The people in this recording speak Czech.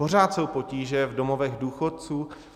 Pořád jsou potíže v domovech důchodců.